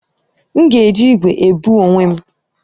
M ga-eji igwe ebu onwe m